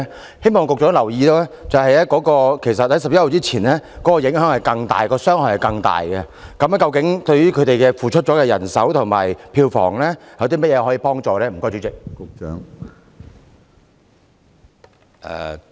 我希望局長留意，在10月1日前受影響的藝團承受的傷害其實更大，對於他們付出的人手和票房損失，當局會提供甚麼幫助？